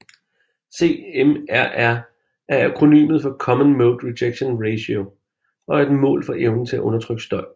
CMRR er akronymet for Common Mode Rejection Ratio og er et mål for evnen til at undertrykke støj